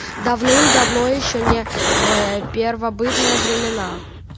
давным-давно ещё не ээ первобытные времена